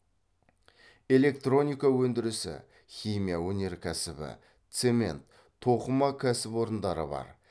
электроника өндірісі химия өнеркәсібі цемент тоқыма кәсіпорындары бар